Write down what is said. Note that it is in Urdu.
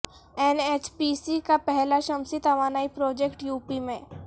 این ایچ پی سی کا پہلا شمسی توانائی پروجیکٹ یوپی میں